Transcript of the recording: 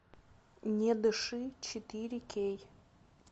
не дыши четыре кей